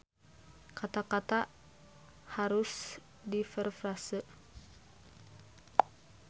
Kata-kata harus direfrase.